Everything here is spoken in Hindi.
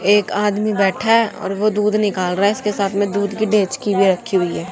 एक आदमी बैठा है और वो दूध निकाल रहा है इसके साथ में दूध की डेचकी भी रखी हुई है।